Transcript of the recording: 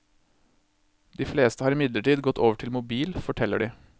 De fleste har imidlertid gått over til mobil, forteller de.